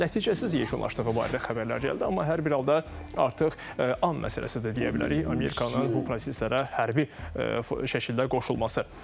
Nəticəsiz yekunlaşdığı barədə xəbərlər gəldi, amma hər bir halda artıq an məsələsidir də deyə bilərik Amerikanın bu proseslərə hərbi şəkildə qoşulması.